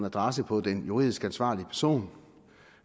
adresse på den juridisk ansvarlige person